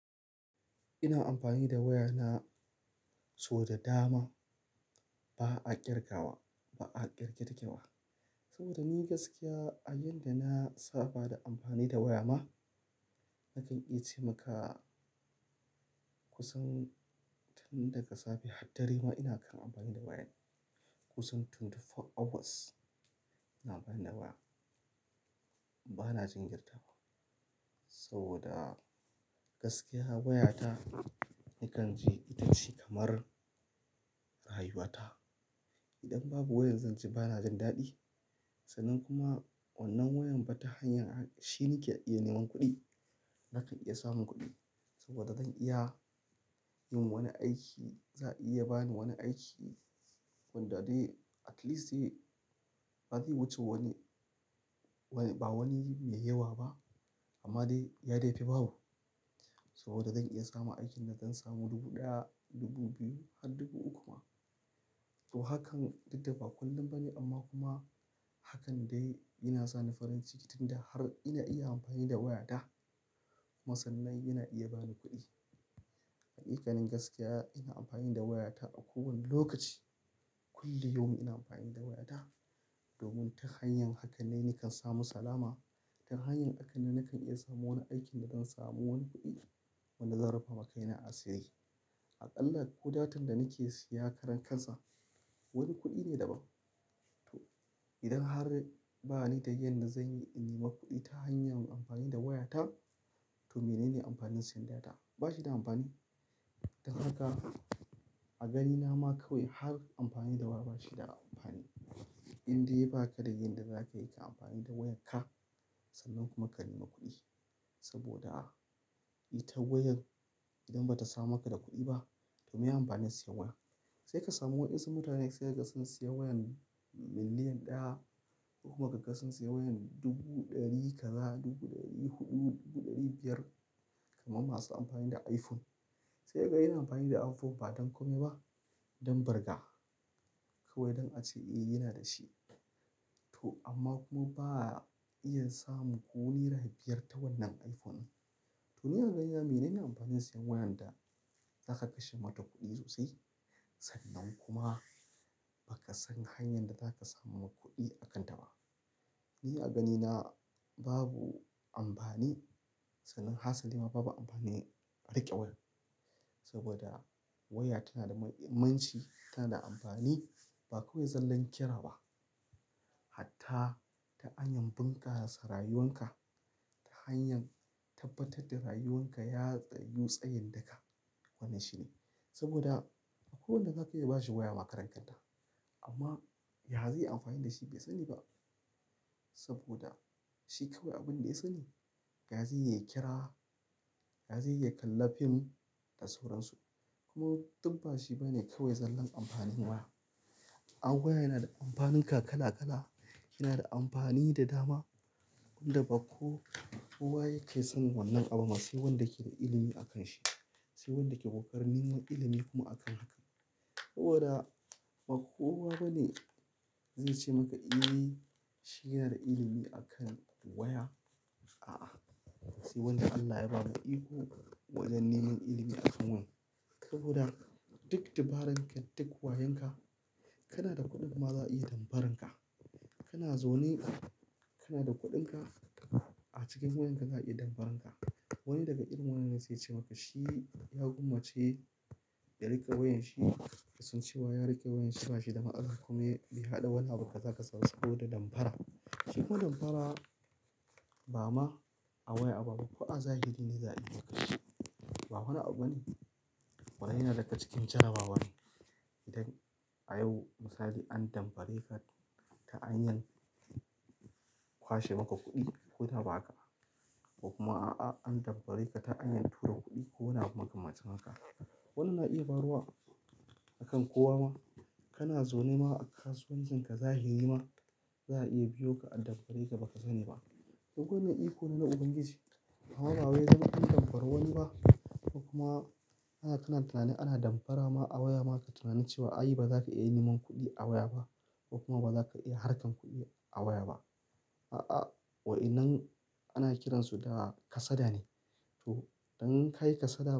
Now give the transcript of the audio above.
Ina amfani da waya na sau da dama ba ƙirgawa, ba ƙirge ƙirge wa. Saboda ni gaskiya a yayin da na saba da amfani da waya ma, nakan iya ce maka, kusan tun daga safe har dare ma ina kan amfani da waya. Kusan tun 24 hours ina amfani da waya. Bana jinkirtawa, saboda gaskiya waya ta nakan ji ita ce kamar rayuwa ta. Idan babu wayar zanji bana jin daɗi. Sannan kuma wannan wayar fa ta hanyar shi nake iya neman kuɗi. Nakan iya samun kuɗi saboda zan iya yin wani aiki, za a iya bani wani aiki wanda dai at least, ba zai wuce wani, ba wani mai yawa ba amma dai ya da ya fi ba bu. Saboda zan iya samun aikin da zan samu dubu ɗaya, dubu biyu har dubu uku ma. To hakan duk da ba kullum ba ne, amma kuma hakan dai ya na sa ni farin ciki tun da har ina iya amfani da waya ta kuma sannan yana iya bani kuɗi. Hakikanin gaskiya ina amfani da waya ta a kowane lokaci. Kullu yaumin ina amfani da waya ta, domin ta hanyan haka ne nakan samu salama. Ta hanyar haka ne nakan iya samun wani aikin da zan samu wani kuɗi, wanda zan rufawa kaina a sirri. Allah, ko datar da nake siya karan kansa wani kuɗi ne daban to, idan har ba ni da yadda zanyi in nemi kuɗi ta hanyar amfani da wayata, to mene ne amfanin siyan data ba shi da amfani. Don haka a ganina ma kawai har amfani da waya bashi da amfani. Indai ba ka da yadda da zaka yi ka amfani da wayan ka, sannan kuma ka nema kuɗi. Saboda, ita wayar idan ba ta samar maka da kuɗi ba, to maye amfanin sayen wayar? Sai ka samu wasu mutane sun sai ma ka wayar miliyan ɗaya, ko kuma ka ga sun sayi wayar dubu ɗari ka za, dubu ɗari huɗu, dubu ɗari biyar, kamar masu amfani da iphone sai kayi amfani da iphone ba don komai ba sai don bir ga kawai don ace eyy ya na da shi to amma kuma ba ya iya samun ko naira biyar ta wannan iphone ɗin to ni a ga ni na mene ne amfanin sayen wayan da za ka kashe ma ta kuɗi sosai, sannan ku ma ba kasan hanyar da za ka samu kuɗi akan ta ba ni a gani na, ba bu amfani sannan hasali ma ba bu amfanin riƙe wayar saboda waya ta na da mahimmanci ta na da amfani, ba kawai zallar ki ra ba hatta ta hanyar bunƙasa rayuwar ka, ta hanyar tabbatar da rayuwar ka ya tsayu tsayin da ka, wannan shine saboda, akwai wanda zaka iya ba shi waya ma karan kanta, amma ya zai yi amfani da shi bai sa ni ba. Saboda shi kawai abin da ya sa ni ya zai yi ya yi kira, ya zai yi ya kalli film, da sauran su. Kuma duk ba shi ba ne kawai zallan amfanin waya. Ai waya ya na da amfanuka kala-kala yana da amfani da dama, wanda ba kowa yake sanin wannan abun ba sai wanda ya ke da ilimi akan shi sai wanda ya ke ƙoƙarin neman ilimi kuma akan hakan saboda ba kowa ba ne zai ce ma ka "ehh shi ya na da ilimi akan waya a'a, sai wanda Allah ya ba ma iko wajen neman ilimi akan saboda da duk dabaran ka duk wayan ka na da kuɗin ma za a iya damfaranka. Ka na zaune, ka na da kuɗin ka a cikin wayarka za a iya damfararka, wani da ga irin wannan ne sai yace ma ka shi ya gwammace ya riƙa wayarshi yasan cewa ya riƙe wayar shi ba shi da matsala kuma ya ɗau wani abu, ka za ka za saboda damfara. Ba ma a waya ba ko a zahiri ne za a iya kashe ba wani abu ba ne, ya na da ga cikin jarrabawa ne idan a yau misali an damfare ka ta hanyar kwashe maka kuɗi ko da ba ka, ko kuma a'a an damfare ka ta hanyar tura kuɗi ko wani abu makamancin haka. Wannan na iya faruwa a kan kowa ma. Kana zaune ma a kasuwancin ka zahiri ma za a iya biyo ka a damfare ka baka sani ba. Duk wannan iko ne na ubangiji. Amm ba wai dan an damfari wani ba ko kuma kana tunani ana damfara ma a waya ma ka yi tunanin ce wa ai ba za ka iya neman kuɗi a waya ba, ko kuma ba za ka iya harkan kuɗi a waya ba. A'a, wa inanan ana kiransu da kasada ne. To, idan kayi kasada.